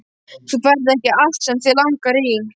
Þú færð ekki allt sem þig langar í!